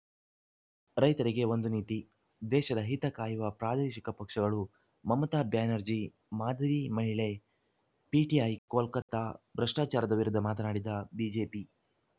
ರೈತರಿಗೆ ಒಂದು ನೀತಿ ದೇಶದ ಹಿತ ಕಾಯುವ ಪ್ರಾದೇಶಿಕ ಪಕ್ಷಗಳು ಮಮತಾ ಬ್ಯಾನರ್ಜಿ ಮಾದರಿ ಮಹಿಳೆ ಪಿಟಿಐ ಕೋಲ್ಕತಾ ಭ್ರಷ್ಟಾಚಾರದ ವಿರುದ್ಧ ಮಾತನಾಡಿದ ಬಿಜೆಪಿ